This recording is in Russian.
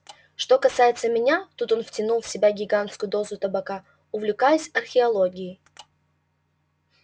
что касается меня тут он втянул в себя гигантскую дозу табака увлекаюсь археологией